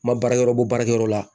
N ma baarakɛyɔrɔ bɔ baarakɛyɔrɔ la